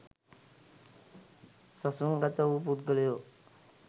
සසුන්ගත වූ පුද්ගලයෝ